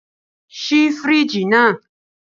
Ṣii firiji naa!